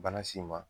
Bana si ma